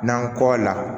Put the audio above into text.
N'an kɔ la